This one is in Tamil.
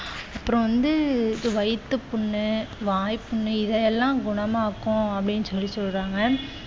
அப்புறம் வந்து வயிற்று புண்ணு, வாய்ப்புண் இது எல்லாம் குணமாகும் அப்படி என்று சொல்லி சொல்றாங்க.